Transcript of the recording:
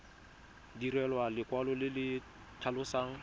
direlwa lekwalo le le tlhalosang